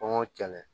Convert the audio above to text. Kɔngɔ kɛlɛ